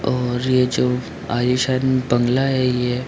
और ये जो आलिशान बांग्ला है ये--